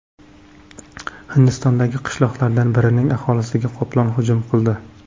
Hindistondagi qishloqlardan birining aholisiga qoplon hujum qildi .